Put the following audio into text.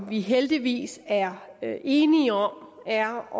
vi heldigvis er enige om er